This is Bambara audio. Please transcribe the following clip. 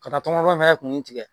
Ka taa tɔŋɔnɔn fɛn kun tigɛ